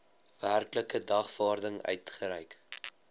werklike dagvaarding uitgereik